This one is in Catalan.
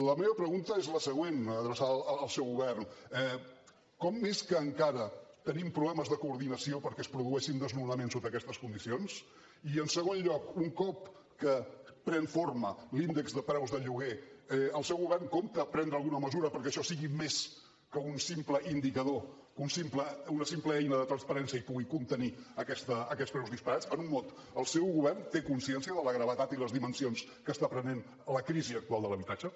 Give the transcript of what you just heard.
la meva pregunta és la següent adreçada al seu govern com és que encara tenim problemes de coordinació perquè es produeixin desnonaments sota aquestes condicions i en segon lloc un cop que pren forma l’índex de preus del lloguer el seu govern compta prendre alguna mesura perquè això sigui més que un simple indicador que una simple eina de transparència i pugui contenir aquests preus disparats en un mot el seu govern té consciència de la gravetat i les dimensions que està prenent la crisi actual de l’habitatge